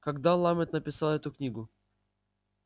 когда ламет написал эту книгу